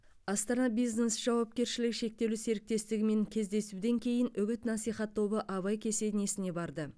астана бизнес жауапкершілігі шектеулі серіктестігімен кездесуден кейін үгіт насихат тобы абай кесенесіне барды